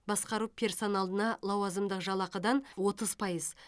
басқару персоналына лауазымдық жалақыдан отыз пайыз